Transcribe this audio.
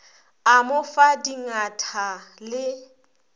a mo fa dingatha le